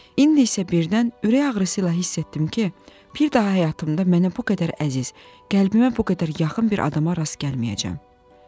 İndi isə birdən ürək ağrısı ilə hiss etdim ki, bir daha həyatımda mənə bu qədər əziz, qəlbimə bu qədər yaxın bir adama rast gəlməyəcəyəm.